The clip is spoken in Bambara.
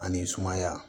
Ani sumaya